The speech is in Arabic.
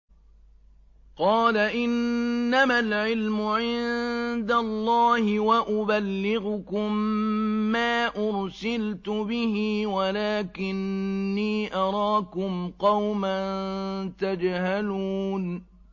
قَالَ إِنَّمَا الْعِلْمُ عِندَ اللَّهِ وَأُبَلِّغُكُم مَّا أُرْسِلْتُ بِهِ وَلَٰكِنِّي أَرَاكُمْ قَوْمًا تَجْهَلُونَ